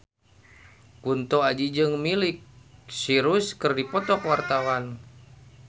Kunto Aji jeung Miley Cyrus keur dipoto ku wartawan